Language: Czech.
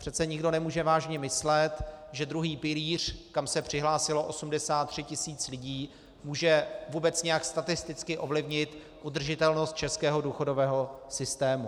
Přece nikdo nemůže vážně myslet, že druhý pilíř, kam se přihlásilo 83 tisíc lidí, může vůbec nějak statisticky ovlivnit udržitelnost českého důchodového systému.